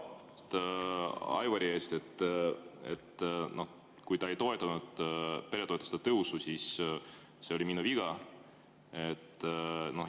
Aivari ees, kui ta ei toetanud peretoetuste tõusu, see oli minu viga.